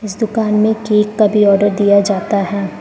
इस दुकान में केक का भी ऑर्डर दिया जाता है।